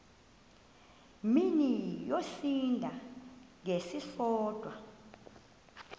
mini yosinda ngesisodwa